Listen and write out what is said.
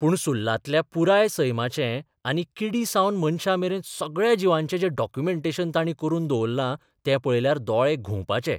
पूण सुल्लातल्या पुराय सैमाचें आनी किडींसावन मनशांमेरेन सगळ्या जिवांचें जें डॉक्युमेंटेशन तांणी करून दवरलां तें पळयल्यार दोळे घुंवपाचे.